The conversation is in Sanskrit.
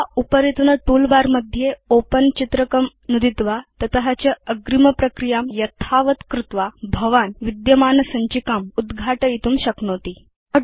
अथ वा उपरितन टूलबार मध्ये ओपेन चित्रकं नुदित्वा तत160 च अग्रिमप्रक्रियां यथावत् कृत्वा भवान् विद्यमानसञ्चिकाम् उद्घाटयितुं शक्नोति